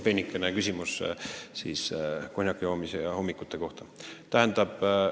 Peenike küsimus konjaki joomise ja hommikute kohta!